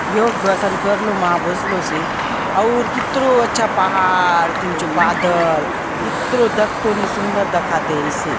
योग दर्शन कर लो मा भोस्लो सी और की तो जो पहाड़ बादल इतना डक टोनी सुंदर दाखा देईसए--